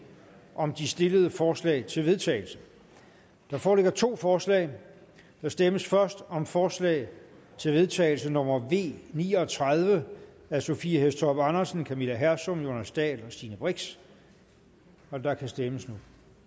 om de stillede forslag til vedtagelse der foreligger to forslag der stemmes først om forslag til vedtagelse nummer v ni og tredive af sophie hæstorp andersen camilla hersom jonas dahl og stine brix og der kan stemmes